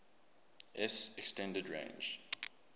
s extended range